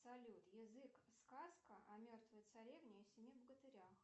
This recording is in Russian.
салют язык сказка о мертвой царевне и семи богатырях